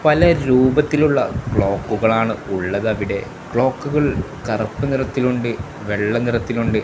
പല രൂപത്തിലുള്ള ക്ലോക്കുകൾ ആണ് ഉള്ളത് അവിടെ ക്ലോക്കുകൾ കറുപ്പ് നിറത്തിലുണ്ട് വെള്ള നിറത്തിലുണ്ട്.